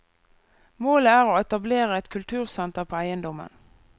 Målet er å etablere et kultursenter på eiendommen.